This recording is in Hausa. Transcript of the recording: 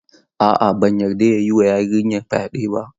A'a, ban yarda ya yi wa yarinyar fyaɗe ba.